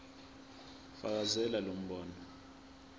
fakazela lo mbono